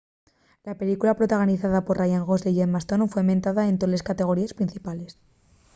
la película protagonizada por ryan gosling y emma stone foi mentada en toles categoríes principales